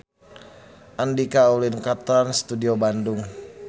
Andika ulin ka Trans Studio Bandung